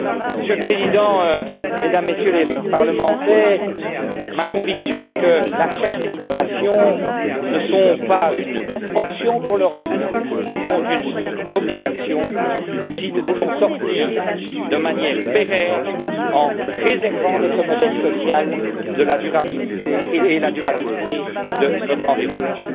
Monsieur le Président, mesdames et messieurs les députés, ma conviction est que la recherche et l'innovation ne sont pas une option pour l'Europe, mais une obligation si nous voulons sortir de manière pérenne en préservant notre modèle social et la durabilité de notre environnement.